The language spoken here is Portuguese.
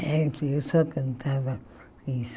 É, que eu só cantava isso.